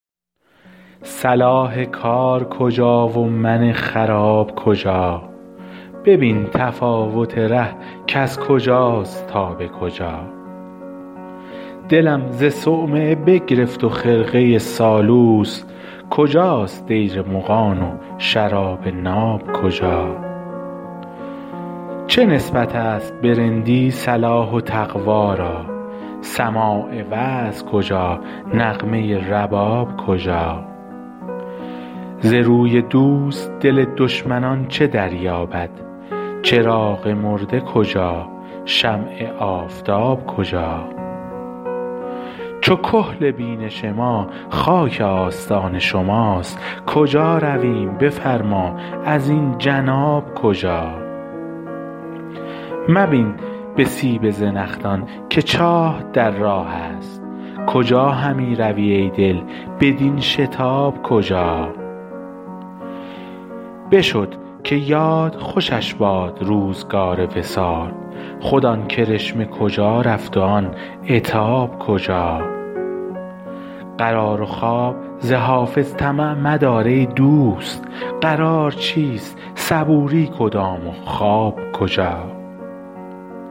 صلاح کار کجا و من خراب کجا ببین تفاوت ره کز کجاست تا به کجا دلم ز صومعه بگرفت و خرقه سالوس کجاست دیر مغان و شراب ناب کجا چه نسبت است به رندی صلاح و تقوا را سماع وعظ کجا نغمه رباب کجا ز روی دوست دل دشمنان چه دریابد چراغ مرده کجا شمع آفتاب کجا چو کحل بینش ما خاک آستان شماست کجا رویم بفرما ازین جناب کجا مبین به سیب زنخدان که چاه در راه است کجا همی روی ای دل بدین شتاب کجا بشد که یاد خوشش باد روزگار وصال خود آن کرشمه کجا رفت و آن عتاب کجا قرار و خواب ز حافظ طمع مدار ای دوست قرار چیست صبوری کدام و خواب کجا